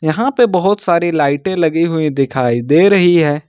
यहां पे बहुत सारी लाइटें लगी हुई दिखाई दे रही है।